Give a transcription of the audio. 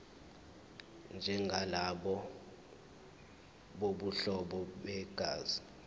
njengalabo bobuhlobo begazi